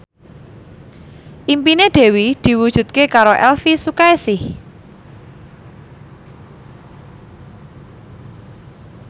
impine Dewi diwujudke karo Elvi Sukaesih